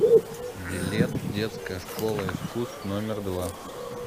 билет детская школа искусств номер два